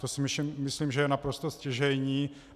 To si myslím, že je naprosto stěžejní.